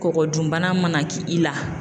Kɔkɔdun bana mana ki i la.